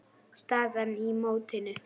Staðan í mótinu